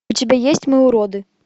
у тебя есть мы уроды